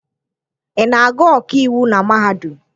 Ị na-agụ ọkaiwu na mahadum?